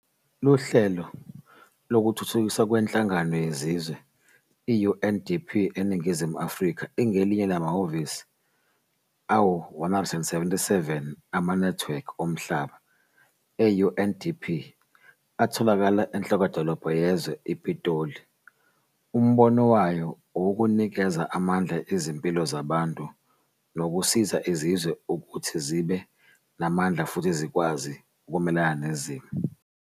Lihlelo Lekutfutfukiswa KweNhlangano Yezizwe, i-UNDP, eNingizimu Afrika ingelinye lamahhovisi ayi-177 amanethiwekhi omhlaba e-UNDP atholakala enhlokodolobha yezwe, iPitoli. Umbono wayo uwukunikeza amandla izimpilo zabantu nokusiza izizwe kuthi zibe namandla futhi zikwazi kumelana nezimo.